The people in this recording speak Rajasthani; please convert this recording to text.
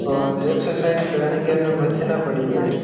और एक्सरसाइज करने के अन्य मशीन पड़ी है।